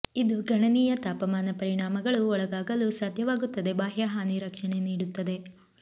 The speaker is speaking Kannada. ಇದು ಗಣನೀಯ ತಾಪಮಾನ ಪರಿಣಾಮಗಳು ಒಳಗಾಗಲು ಸಾಧ್ಯವಾಗುತ್ತದೆ ಬಾಹ್ಯ ಹಾನಿ ರಕ್ಷಣೆ ನೀಡುತ್ತದೆ